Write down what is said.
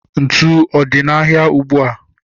Ntụ ọ dị n'ahịa ugbua?